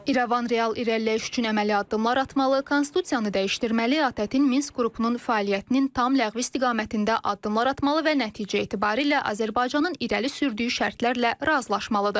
İrəvan real irəliləyiş üçün əməli addımlar atmalı, konstitusiyanı dəyişdirməli, ATƏT-in Minsk qrupunun fəaliyyətinin tam ləğvi istiqamətində addımlar atmalı və nəticə etibarilə Azərbaycanın irəli sürdüyü şərtlərlə razılaşmalıdır.